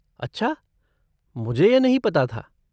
अच्छा, मुझे यह नहीं पता था।